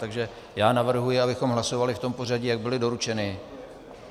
Takže já navrhuji, abychom hlasovali v tom pořadí, jak byly doručeny.